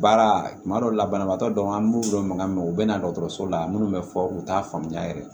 Baara tuma dɔw la banabaatɔ dɔw an b'u dɔn mankan mɛ u bɛ na dɔgɔtɔrɔso la minnu bɛ fɔ u t'a faamuya yɛrɛ